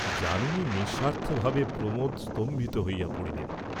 যামিনীর নিঃস্বার্থ ভাবে প্রমোদ স্তম্ভিত হইয়া পড়িলেন।